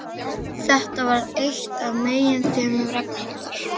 Þetta varð eitt af meginþemum Ragnhildar.